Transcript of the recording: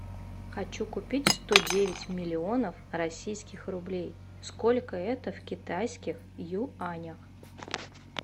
хочу купить сто девять миллионов российских рублей сколько это в китайских юанях